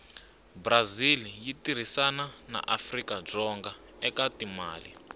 brazil yitirhisana naafrikadzonga ekatimale